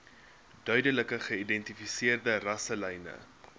duidelik geïdentifiseerde rasselyne